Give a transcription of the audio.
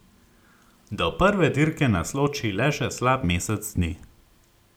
Do prve dirke nas loči le še slab mesec dni.